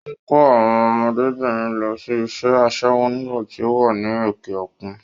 Ó ń kó àwọn ọmọdébìnrin lọ ṣe iṣẹ́ aṣẹ́wó nígbà tí ó wà ní òkè-òkun.